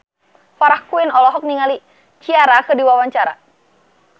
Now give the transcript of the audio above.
Farah Quinn olohok ningali Ciara keur diwawancara